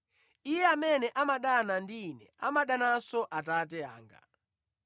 Iye amene amadana ndi Ine amadananso Atate anga.